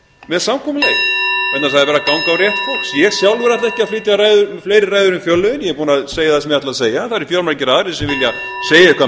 með samkomulagi það er verið að ganga á rétt fólks ég sjálfur ætla ekki að flytja fleiri ræður um fjárlögin ég er búinn að segja það sem ég ætlaði að